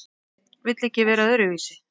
Vill ekki vera öðruvísi.